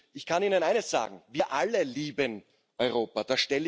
Ich kann Ihnen eines sagen Wir alle lieben Europa.